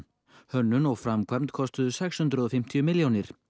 hönnun og framkvæmdir kostuðu sex hundruð og fimmtíu milljónir